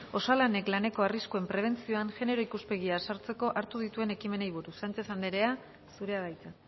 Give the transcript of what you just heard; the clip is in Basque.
osalanek laneko arriskuen prebentzioan genero ikuspegia sartzeko hartzen dituen ekimenei buruz sánchez andrea zurea da hitza